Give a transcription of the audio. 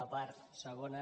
la part segona